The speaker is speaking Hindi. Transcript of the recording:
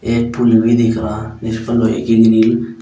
एक पुल भी दिख रहा जिस पर लोहे की ग्रिल --